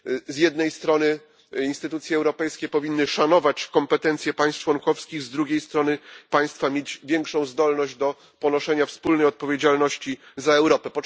Z jednej strony instytucje europejskie powinny szanować kompetencje państw członkowskich, z drugiej strony państwa mieć większą zdolność do ponoszenia wspólnej odpowiedzialności za Europę.